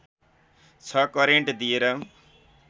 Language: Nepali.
६ करेन्ट दिएर